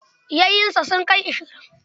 Yayunsa sun kai ashirin.